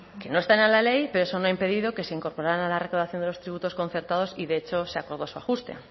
que no están en la ley pero eso no ha impedido que se incorporarán a la recaudación de los tributos concertados y de hecho se acordó su ajuste